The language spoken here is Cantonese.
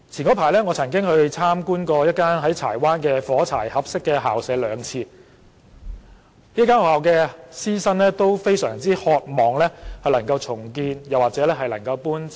我早前曾經兩次參觀一間在柴灣的"火柴盒式校舍"，該校的師生均非常渴望校舍能獲重建或搬遷。